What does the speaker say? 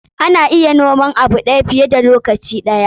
Ana iya noman abu fiye da ɗaya lokaci ɗaya.